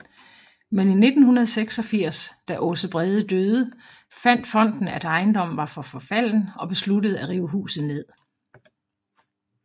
Men i 1986 da Aase Brede døde fandt fonden at ejendommen var for forfalden og besluttede at rive huset ned